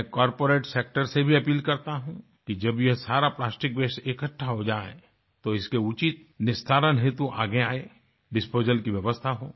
मैं corporate sector से भी अपील करता हूँ कि जब ये सारा प्लास्टिक वास्ते इकठ्ठा हो जाए तो इसके उचित निस्तारण हेतु आगे आयें डिस्पोजल की व्यवस्था हो